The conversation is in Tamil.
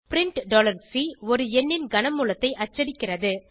பிரின்ட் C ஒரு எண்ணின் கன மூலத்தை அச்சடிக்கிறது